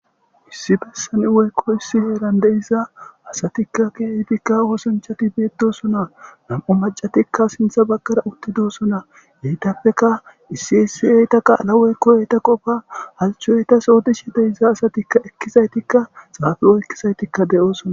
issi bessani woykko issi heeran deiza asatikka kieytikka oosanchati beedosona nam7u macatikka sintha baggara uttidoosona geytappeka issi essi7eyta qaala woykkoyeyta qofa halchoyytas oodishe deiza asatikka ekkizaytikka xaafe oykkisaytikka de7oosona